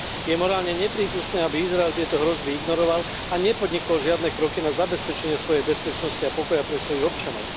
Je morálne neprípustné, aby Izrael tieto hrozby ignoroval a nepodnikol žiadne kroky na zabezpečenie svojej bezpečnosti a pokoja pre svojich občanov.